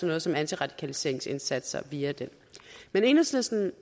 noget som antiradikaliseringsindsatser via den men enhedslisten